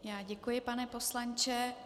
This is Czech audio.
Já děkuji, pane poslanče.